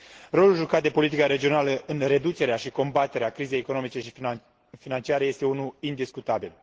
Rolul jucat de politica regională în reducerea și combaterea crizei economice și financiare este unul indiscutabil.